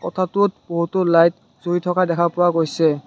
কোঠাটোত বহুতো লাইত জ্বলি থকা দেখা পোৱা গৈছে।